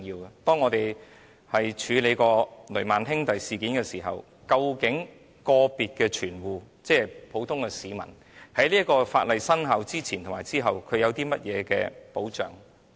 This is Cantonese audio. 正如當日我們曾處理的雷曼兄弟事件，究竟個別的存戶，即普通市民在法例生效前後有何保障？